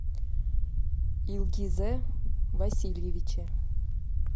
илгизе васильевиче